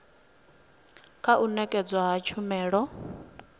kha u nekedzwa ha tshumelo